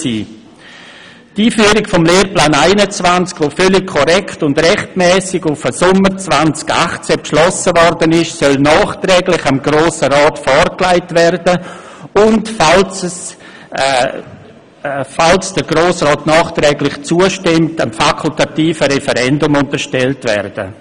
Die Einführung des Lehrplans 21, die völlig korrekt und rechtmässig auf Sommer 2018 hin beschlossen wurde, soll nachträglich dem Grossen Rat vorgelegt und, falls der Grosse Rat zustimmt, dem fakultativen Referendum unterstellt werden.